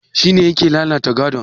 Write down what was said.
Shi ne yake lalata gadon?